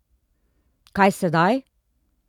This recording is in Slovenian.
Kaj sedaj?